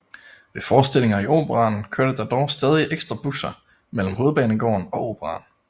Ved forestillinger i Operaen kørte der dog stadig ekstra busser mellem Hovedbanegården og Operaen